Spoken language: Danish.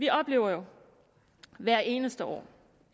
vi oplever jo hvert eneste år